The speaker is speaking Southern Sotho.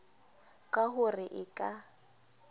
ka ho re e ka